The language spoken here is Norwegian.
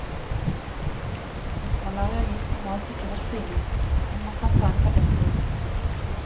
Mot malaria gis normalt ikke vaksine, men man kan ta en tablettkur.